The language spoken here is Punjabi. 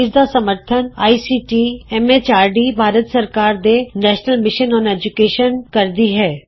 ਇਸ ਦਾ ਸਮਰੱਥਨ ਆਈਸੀਟੀ ਐਮ ਐਚਆਰਡੀ ਭਾਰਤ ਸਰਕਾਰ ਦੇ ਨੈਸ਼ਨਲ ਮਿਸ਼ਨ ਅੋਨ ਏਜੂਕੈਸ਼ਨ ਕਰਦੀ ਹੈ